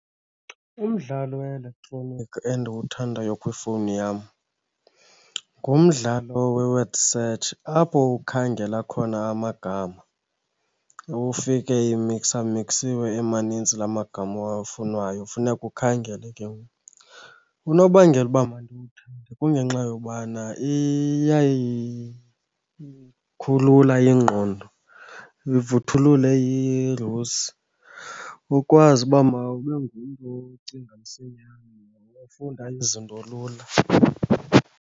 Umdlalo we-elektroniki endiwuthandayo kwifowuni yam ngumdlalo we-word search apho ukhangela khona amagama ufike imiksa miksiwe emanintsi la magama owafunwayo, funeka ukhangele ke ngoku. Unobangela uba mandiwuthande kungenxa yobana iyayikhulula ingqondo ivuthulule irusi, ukwazi uba mawube ngumntu ocinga msinyane nokufunda izinto lula.